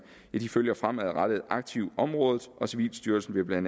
følger fremadrettet aktivt området og civilstyrelsen vil bla